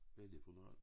Hvad er det for noget